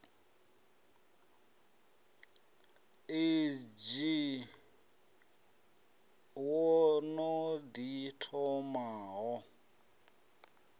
odzhi wo no ḓi thomaho